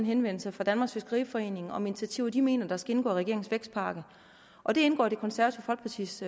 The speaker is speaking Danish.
henvendelse fra danmarks fiskeriforening om initiativer de mener der skal indgå i regeringens vækstpakke og det indgår i det konservative folkepartis